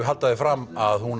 halda því fram að hún